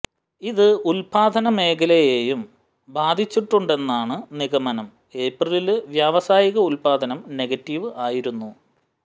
ഇത് ഉത്പാദന മേഖലയെയും ബാധിച്ചിട്ടുണ്ടെന്നാണ് നിഗമനം ഏപ്രിലില് വ്യാവസായിക ഉത്പാദനം നെഗറ്റീവ് ആയിരുന്നു